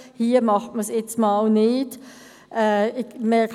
Hier macht man das jetzt für einmal nicht so.